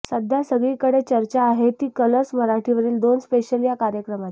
सध्या सगळीकडे चर्चा आहे ती कलर्स मराठीवरील दोन स्पेशल या कार्यक्रमाची